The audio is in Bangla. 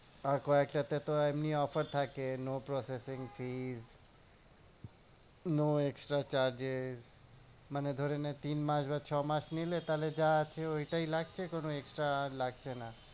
তারপর একটাতে তো এমনি offer থাকে no processing fees no extra charges মানে ধরে নে তিন মাস বা ছ মাস নিলে তাহলে যা আছে ওইটাই লাগছে কোনো extra আর লাগছে না।